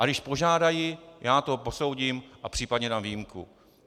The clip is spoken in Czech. A když požádají, já to posoudím a případně dám výjimku.